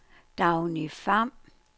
Dagny Pham